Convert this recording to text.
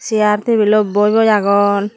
chair table ot boi boi agon.